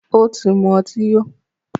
Ó tí mú ọtí yó.